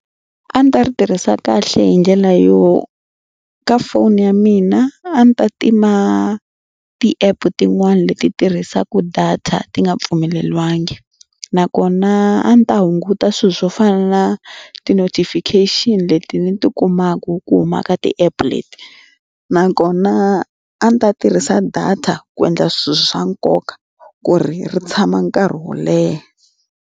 A ni ta ri tirhisa kahle hi ndlela yo ka foni ya mina a ndzi ta tima ti-app tin'wani leti tirhisaka data ti nga pfumeleriwangi nakona a ndzi ta hunguta swilo swo fana na ti-notification leti ni ti kumaku ku humaka ti-app leti nakona a ni ta tirhisa data ku endla swilo swa nkoka ku ri tshama nkarhi wo leha.